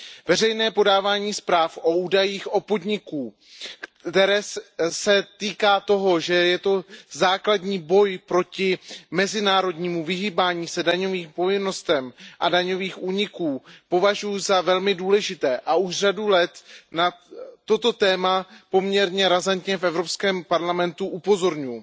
Veřejné podávání zpráv o údajích podniků, které se týká toho, že je to základní boj proti mezinárodnímu vyhýbání se daňovým povinnostem a daňovým únikům, považuji za velmi důležité a už řadu let na toto téma poměrně razantně v Evropském parlamentu upozorňuji.